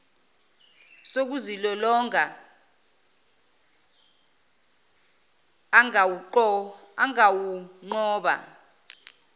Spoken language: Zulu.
sokuzilolonga an gawunqoba